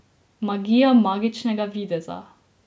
Magija magičnega videza.